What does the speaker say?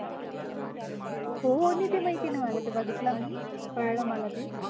हो आणि ते माहिती आहेना मला ते बघितलं मी, कळलं मला ते.